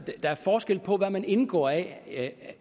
der er forskel på hvad man indgår i af